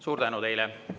Suur tänu teile!